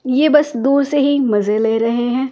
ये बस दूर से ही मजे ले रहे हैं ।